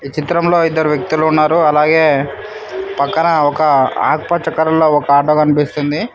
చిత్రంలో ఇద్దరు వ్యక్తులు ఉన్నారు అలాగే పక్కన ఒక ఆత్మకరణలో ఒక ఆటో కనిపిస్తుంది.